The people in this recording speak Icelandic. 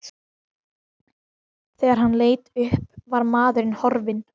Þegar hann leit upp var maðurinn horfinn.